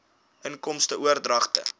inkomste oordragte